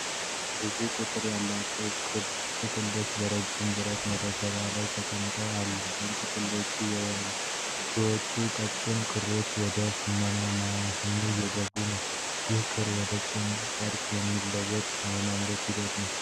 ብዙ ቁጥር ያላቸው የክር ጥቅሎች በረጅም ብረት መደርደሪያዎች ላይ ተቀምጠው አሉ። ከጥቅሎቹ የሚወጡት ቀጭን ክሮች ወደ ሽመና ማሽኑ እየገቡ ነው። ይህም ክር ወደ ጨርቅ የሚለወጥበትን የማምረት ሂደት ነው።